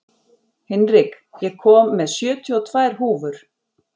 Hinrik, ég kom með sjötíu og tvær húfur!